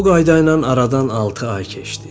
Bu qayda ilə aradan altı ay keçdi.